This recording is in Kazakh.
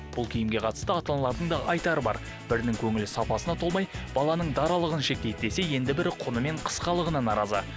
бұл киімге қатысты ата аналардың да айтары бар бірінің көңілі сапасына толмай баланың даралығын шектейді десе енді бірі құны мен қысқалығына наразы